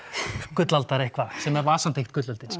gullaldar eitthvað sem var samt ekkert gullöldin